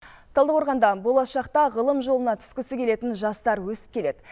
талдықорғанда болашақта ғылым жолына түскісі келетін жастар өсіп келеді